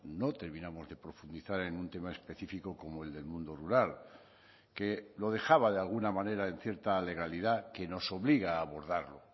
no terminamos de profundizar en un tema específico como el del mundo rural que lo dejaba de alguna manera en cierta legalidad que nos obliga a abordarlo